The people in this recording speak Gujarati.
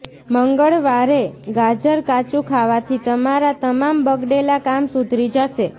મંગળવારે ગાજર કાચુ ખાવાથી તમારા તમામ બગડેલા કામ સુધરી જશે